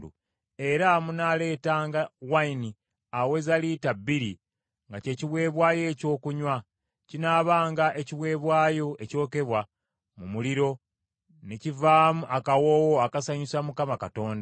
Era munaaleetanga envinnyo eweza lita bbiri nga kye kiweebwayo ekyokunywa. Kinaabanga ekiweebwayo ekyokebwa mu muliro ne kivaamu akawoowo akasanyusa Mukama Katonda.